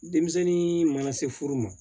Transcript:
Denmisɛnnin mana se furu ma